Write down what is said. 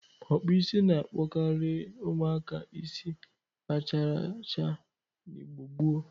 Ọkpụisi na-akpọkarị ụmụaka isi racharacha na Igbo gboo.